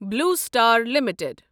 blue Star limited